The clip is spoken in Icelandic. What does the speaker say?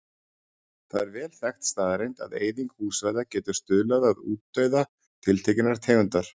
Það er vel þekkt staðreynd að eyðing búsvæða getur stuðlað að útdauða tiltekinnar tegundar.